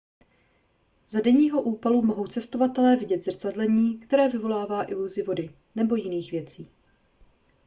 za denního úpalu mohou cestovatelé vidět zrcadlení které vyvolává iluzi vody nebo jiných věcí